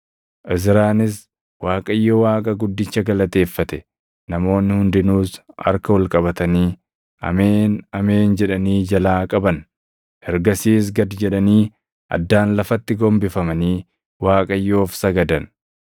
Izraanis Waaqayyo Waaqa guddicha galateeffate; namoonni hundinuus harka ol qabatanii, “Ameen! Ameen!” jedhanii jalaa qaban. Ergasiis gad jedhanii addaan lafatti gombifamanii Waaqayyoof sagadan.